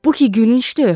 Bu ki gülüncdür!